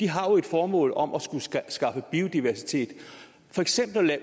har et formål om at skulle skaffe biodiversitet for eksempel kunne